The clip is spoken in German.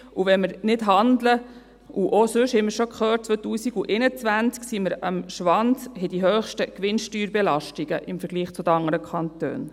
Und wenn wir nicht handeln ... Und auch sonst sind wir, wie wir bereits gehört haben, im Jahr 2021 am Schwanz und haben die höchsten Gewinnsteuerbelastungen im Vergleich zu den anderen Kantonen.